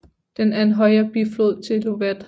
Den er en højre biflod til Lovat